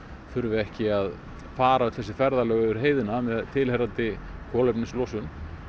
þurfi ekki að fara öll þessi ferðalög yfir heiðina með tilheyrandi kolefnislosun